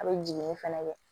A bɛ jiginni fɛnɛ kɛ